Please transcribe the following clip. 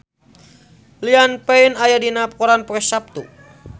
Liam Payne aya dina koran poe Saptu